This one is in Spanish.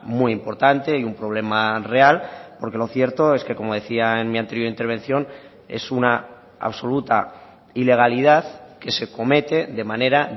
muy importante y un problema real porque lo cierto es que como decía en mi anterior intervención es una absoluta ilegalidad que se comete de manera